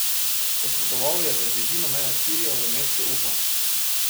Odpotoval je v bližino meje s Sirijo, v mesto Ufa.